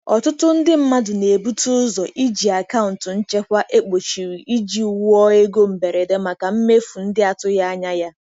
Ọtụtụ ndị mmadụ na-ebute ụzọ iji akaụntụ nchekwa ekpochiri iji wuo ego mberede maka mmefu ndị atụghị anya ya.